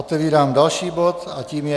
Otevírám další bod a tím je